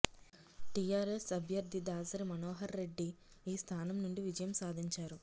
TRS అభ్యర్థి దాసరి మనోహర్రెడ్డి ఈ స్థానం నుండి విజయం సాధించారు